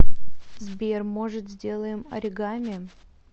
сбер может сделаем оригами